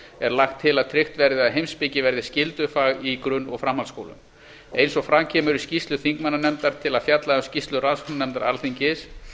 er lagt til að tryggt verði að heimspeki verði skyldufag í grunn og framhaldsskólum eins og fram kemur í skýrslu þingmannanefndar til að fjalla um skýrslu rannsóknarnefndar alþingis